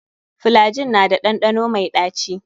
Flygin na da ɗanɗano mai ɗaci.